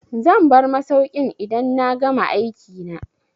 Zan bar masaukin idan na gama aikina.